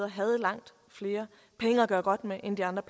havde langt flere penge at gøre godt med end de andre